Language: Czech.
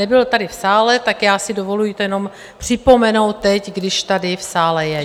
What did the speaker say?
Nebyl tady v sále, tak já si dovoluji to jenom připomenout teď, když tady v sále je.